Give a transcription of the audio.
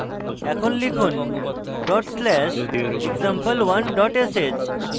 এখন লিখুন dot slash example1 dot sh